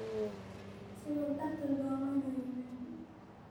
Sidhas darteed korma noyimani.